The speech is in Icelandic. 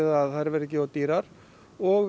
að þær verði ekki of dýrar og